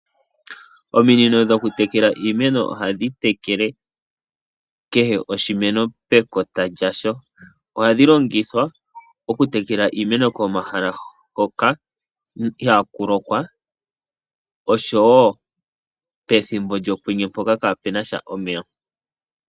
Ominino dhoku tekela iimeno ohadhi tekele kehe oshimeno pekota lyasho. Ohadhi longithwa oku tekela iimeno komahala hoka ihaaku lokwa, osho wo pethimbo lyokwenye mpoka kaa punasha omeya.